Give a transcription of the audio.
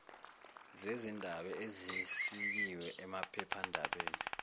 zezindaba ezisikiwe emaphephandabeni